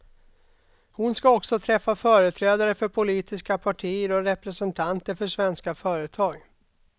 Hon ska också träffa företrädare för politiska partier och representanter för svenska företag.